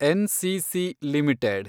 NCC limited